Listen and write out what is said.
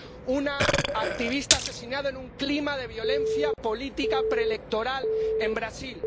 una activista asesinada en un clima de violencia política preelectoral en Brasil.